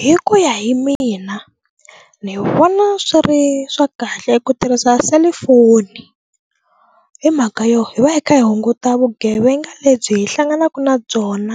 Hi ku ya hi mina ni vona swi ri swa kahle ku tirhisa selifoni hi mhaka yo hi va hi kha hi hunguta vugevenga lebyi hi hlanganaka na byona